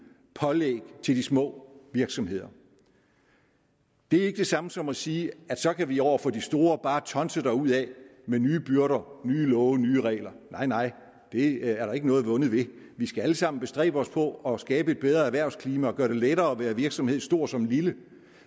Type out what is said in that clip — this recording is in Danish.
pålæg til de små virksomheder det er ikke det samme som at sige at så kan vi over for de store bare tonse derudad med nye byrder nye love nye regler nej det er der ikke noget vundet ved vi skal alle sammen bestræbe os på at skabe et bedre erhvervsklima og gøre det lettere at være virksomhed stor som lille